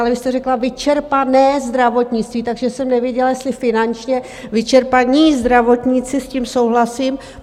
Ale vy jste řekla "vyčerpané zdravotnictví", takže jsem nevěděla, jestli finančně vyčerpaní zdravotníci - s tím souhlasím.